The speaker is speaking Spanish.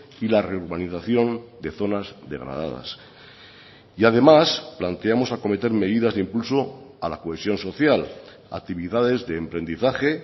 y la reurbanización de zonas degradadas y además planteamos acometer medidas de impulso a la cohesión social actividades de emprendizaje